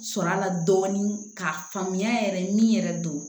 Sɔrɔ a la dɔɔnin k'a faamuya yɛrɛ min yɛrɛ don